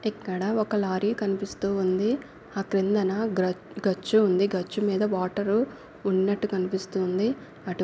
ఇక్కడా ఒక్క లారీ కనిపిస్తూ ఉంది. ఆ కిందన గ్ర గచ్చు ఉంది. గచ్చు మీద వాటర్ ఉన్నట్టు కనిపిస్తుంది. అటు--